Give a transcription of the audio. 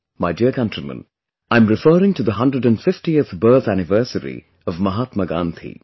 My dear countrymen, I'm referring to the 150th birth anniversary of Mahatma Gandhi